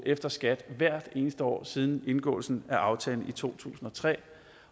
efter skat hvert eneste år siden indgåelsen af aftalen i to tusind og tre